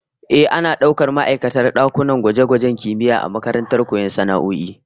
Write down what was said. Ehh, ana daukar ma'aikatan dakunan gwaje-gwajen kimiyya a makarantar koyon sana'o'i